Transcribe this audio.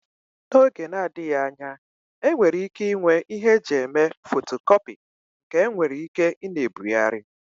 N'oge na-adịghị anya enwere ike inwe ịhe eji eme fotocopi nke enwere ike ina ebugharị.